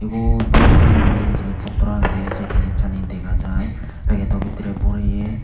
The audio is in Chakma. wuot balokkani uri jinch potrow agedey sei jinicchani dega jaai pegedo bidirey boreye.